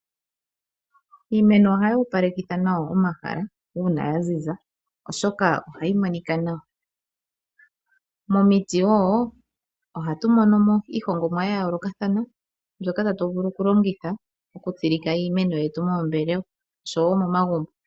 Iimeno ohayoopalekitha nawa omahala uuna yaziza oshoka ohayi monika nawa. Momiti woo ohatumonomo iihongomwa ya yoolokathana, mbyoka tatuvulu okulongitha okutsilika iimeno yetu moombelewa oshowo momagumbo.